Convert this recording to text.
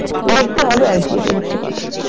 দেখতে হবে আর কি এটাই হচ্ছে কথা।